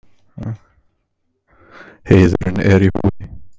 Heiðurinn er í húfi.